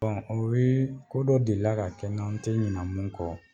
Bɔn o ye ko dɔ deli ka kɛ n na n te ɲinɛ mun kɔ